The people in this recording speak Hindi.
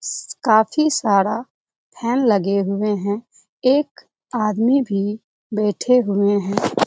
काफी सारा फैन लगे हुए है। एक आदमी भी बैठे हुए है।